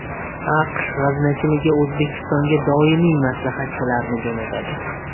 AQSh g‘aznachiligi O‘zbekistonga doimiy maslahatchilarni jo‘natadi.